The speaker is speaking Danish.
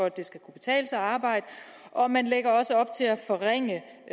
at det skal kunne betale sig at arbejde og man lægger også op til at forringe